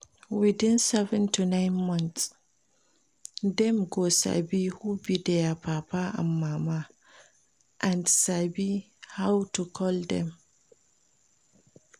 Within seven to nine months dem go sabi who be their papa and mama and sabi how to call dem